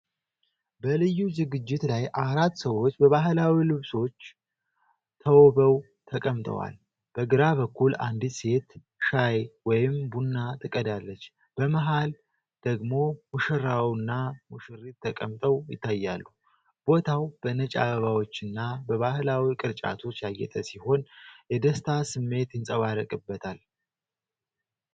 በልዩ ዝግጅት ላይ አራት ሰዎች በባህላዊ ልብሶች ተውበው ተቀምጠዋል። በግራ በኩል አንዲት ሴት ሻይ/ቡና ትቀዳለች፤ በመሃል ደግሞ ሙሽራውና ሙሽሪት ተቀምጠው ይታያሉ። ቦታው በነጭ አበባዎችና በባህላዊ ቅርጫቶች ያጌጠ ሲሆን፣ የደስታ ስሜት ይንጸባረቅበታል።